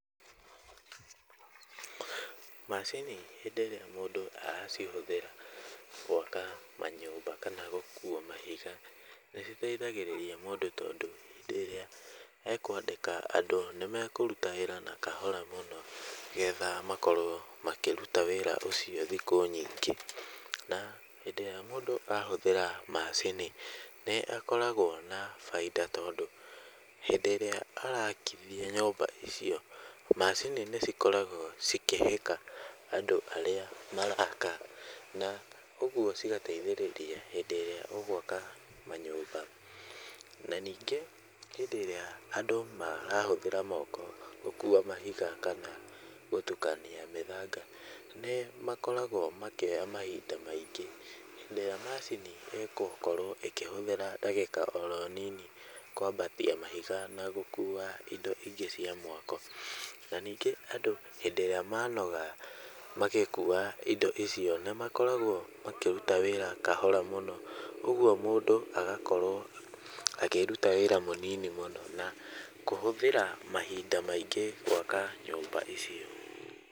Macini hĩndĩ ĩria mũndũ aracihũthĩra gwaka kana gũkua mahiga nĩ citeithagĩrĩria mũndũ tondũ hĩndĩ ĩrĩa ekũandĩka andũ nĩ mekũruta wĩra na kahora mũno getha makorwo makĩruta wĩra ũcio thikũ nyingĩ. Na hindĩ ĩrĩa mũndũ ahũthĩra macini nĩ akoragwo na baita tondũ hĩndĩ ĩrĩa araakithia nyũmba icio macini nĩ cikoragwo cikĩhĩka andũ arĩa maraaka, na ũguo cigateithĩrĩria hĩndĩ ĩrĩa ũgwaka manyũmba. Na nyingĩ hĩndĩ ĩrĩa andũ marahũthĩra moko gũkua mahiga kana gũtukania mĩthanga nĩ makoragwo makĩoya mahinda maingĩ. Hĩndĩ ĩrĩa macini ĩgũkorwo ĩkĩhũthĩra ndagĩka oro nini kwambatia mahiga na gũkua indo ingĩ cia mwako. Na ningĩ andũ hĩndĩ ĩrĩa manoga magĩkua indo icio nĩ makoragwo makĩruta wĩra kahora mũno. Ũguo mũndũ agakorwo akĩruta wĩra mũnini mũno na kũhũthĩra mahinda maingĩ gwaka nyũmba icio.